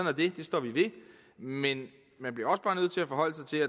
er det det står vi ved men